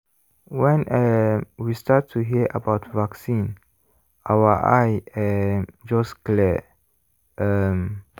when um we start to hear about vaccine our eye um just clear um